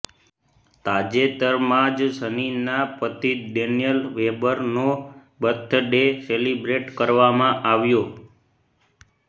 તાજેતરમાં જ સનીના પતિ ડેનિયલ વેબરનો બર્થડે સેલિબ્રેટ કરવામાં આવ્યો